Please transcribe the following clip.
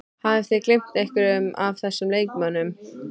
Hafið þið gleymt einhverjum af þessum leikmönnum?